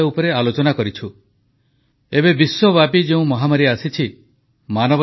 ଆମର ବୀର ସୈନିକମାନେ ଦେଖାଇ ଦେଇଛନ୍ତି ଯେ ସେମାନେ ଭାରତମାତାର ଗୌରବକୁ କଦାପି କ୍ଷୁର୍ଣ୍ଣ ହେବାକୁ ଦେବେନାହିଁ ନରେଦ୍ର ମୋଦୀ